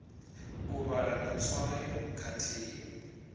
u vhala na tswayo khathihi